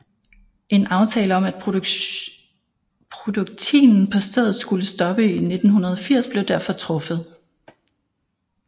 En aftale om at produktinen på stedet skulle stoppe i 1980 blev derfor truffet